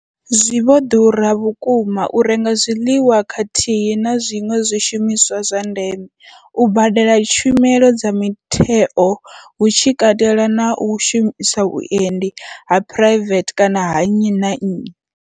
Zwi vho ḓura vhukuma u renga zwiḽiwa khathihi na zwiṅwe zwishumiswa zwa ndeme, u badela tshumelo dza mutheo hu tshi katelwa na u shumisa vhuendi ha phuraivethe kana ha nnyi na nnyi.